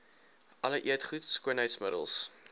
alle eetgoed skoonheidsmiddels